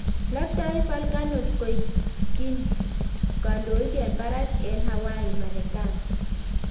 loktoi volcanot koik kindonik eng barak eng Hawai, Marekani